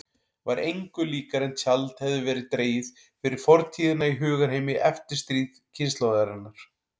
Var engu líkara en tjald hefði verið dregið fyrir fortíðina í hugarheimi eftirstríðskynslóðarinnar.